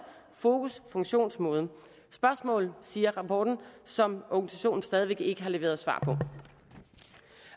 fokus funktionsmåde spørgsmål siger rapporten som organisationen stadig væk ikke har leveret svar på